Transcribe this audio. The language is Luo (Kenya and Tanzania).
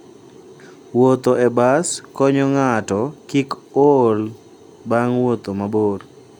Wuotho e bas konyo ng'ato kik ool bang' wuotho mabor.